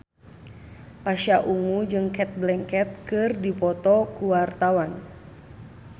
Pasha Ungu jeung Cate Blanchett keur dipoto ku wartawan